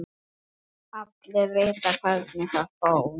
Allir vita hvernig það fór.